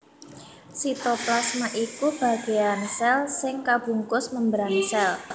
Sitoplasma iku bagéan sèl sing kabungkus membran sèl